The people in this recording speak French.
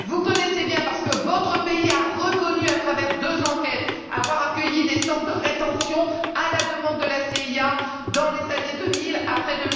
Vous la connaissez bien parce que votre pays a reconnu, à travers deux enquêtes, avoir accueilli des centres de rétention à la demande de la CIA, dans les années 2000, après